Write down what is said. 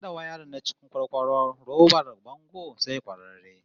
Hada wayarin na cikin kwarkwaro robar bango sai kwararre